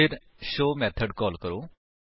ਫਿਰ show method call ਕਰੋ